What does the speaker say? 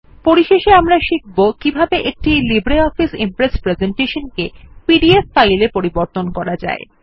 পরিশেষে আমরা শিখব কিভাবে একটি লিব্রিঅফিস ইমপ্রেস প্রেসেন্টেশন কে পিডিএফ ফাইলে পরিবর্তন করা যায়